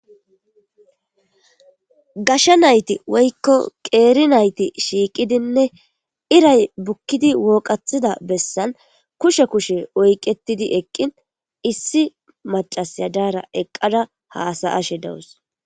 Gashe nayti woykko qeeri nayti shiiqidinne iray bukkidi wooqathida bessan kushe kushe oyqetidi eqqin issi maccasiya daara eqqida hasa'ashe dawus.